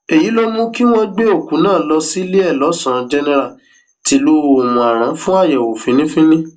èyí ló mú kí wọn gbé òkú náà lọ síléelọsàn jẹnẹra tìlú òmùaran fún àyẹwò fínnífínní